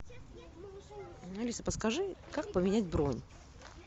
алиса подскажи как поменять бронь